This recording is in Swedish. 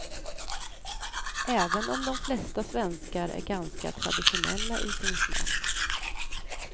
Även om de flesta svenskar är ganska traditionella i sin smak.